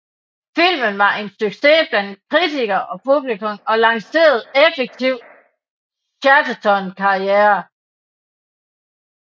Filmen var en succes blandt kritikere og publikum og lancerede effektivt Chatterton karriere